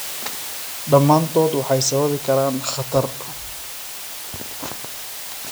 Dhammaantood waxay sababi karaan khatar."